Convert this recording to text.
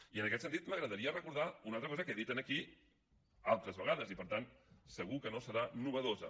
i en aquest sentit m’agradaria recordar una altra cosa que he dit aquí altres vegades i per tant segur que no serà innovadora